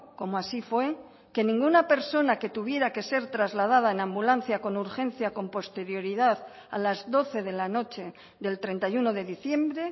como así fue que ninguna persona que tuviera que ser trasladada en ambulancia con urgencia con posterioridad a las doce de la noche del treinta y uno de diciembre